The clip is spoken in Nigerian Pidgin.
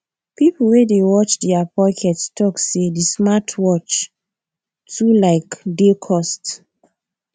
people wey dey watch their pocket talk say the smartwatch too like dey cost